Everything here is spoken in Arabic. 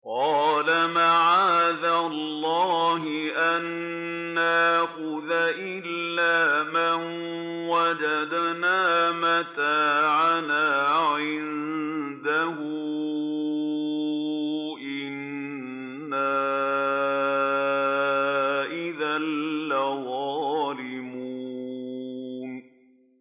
قَالَ مَعَاذَ اللَّهِ أَن نَّأْخُذَ إِلَّا مَن وَجَدْنَا مَتَاعَنَا عِندَهُ إِنَّا إِذًا لَّظَالِمُونَ